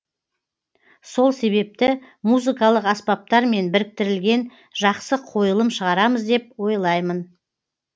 сол себепті музыкалық аспаптармен біріктірілген жақсы қойылым шығарамыз деп ойлаймын